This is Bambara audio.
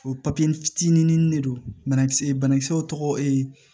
O fitinin de don banakisɛ banakisɛw tɔgɔ ee